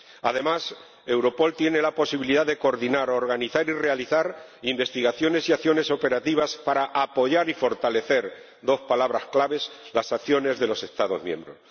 Además, Europol tiene la posibilidad de coordinar organizar y realizar investigaciones y acciones operativas para apoyar y fortalecer —dos palabras claves— las acciones de los Estados miembros.